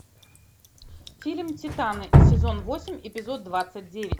фильм титаны сезон восемь эпизод двадцать девять